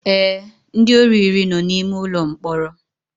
Ee, ndị ori iri no na ime ụlọ mkpọrọ